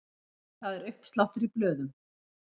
Það er uppsláttur í blöðum.